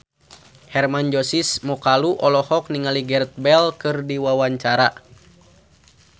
Hermann Josis Mokalu olohok ningali Gareth Bale keur diwawancara